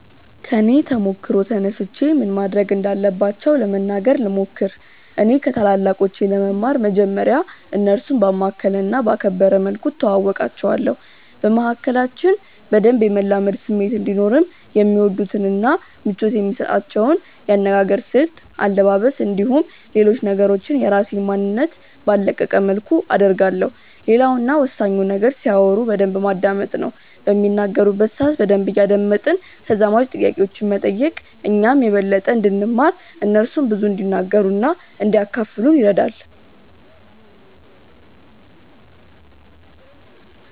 ከኔ ተሞክሮ ተነስቼ ምን ማድረግ እንዳለባቸው ለመናገር ልሞክር። እኔ ከታላላቆቼ ለመማር መጀመርያ እነርሱን ባማከለ እና ባከበረ መልኩ እተዋወቃቸዋለሁ። በመካከላችን በደንብ የመላመድ ስሜት እንዲኖርም የሚወዱትን እና ምቾት የሚሰጣቸውን የአነጋገር ስልት፣ አለባበስ፣ እንዲሁም ሌሎች ነገሮችን የራሴን ማንነት ባልለቀቀ መልኩ አደርጋለሁ። ሌላው እና ወሳኙ ነገር ሲያወሩ በደንብ ማዳመጥ ነው። በሚናገሩበት ሰአት በደንብ እያደመጥን ተዛማጅ ጥያቄዎችን መጠየቅ እኛም የበለጠ እንድንማር እነርሱም ብዙ እንዲናገሩ እና እንዲያካፍሉን ይረዳል።